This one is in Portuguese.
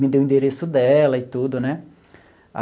Me deu o endereço dela e tudo, né?